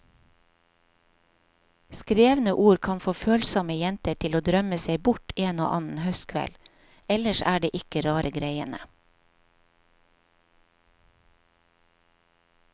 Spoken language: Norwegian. Skrevne ord kan få følsomme jenter til å drømme seg bort en og annen høstkveld, ellers er det ikke rare greiene.